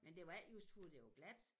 Men det var ikke just for det var glat